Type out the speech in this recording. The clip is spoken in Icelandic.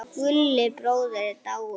Gulli bróðir er dáinn.